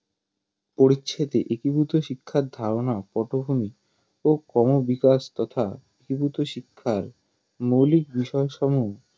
পরিচ্ছেদে একীভূত শিক্ষার ধারনা কতখানি ও ক্রমবিকাশ তথা একীভূত শিক্ষার মৌলিক বিষয়সমুহ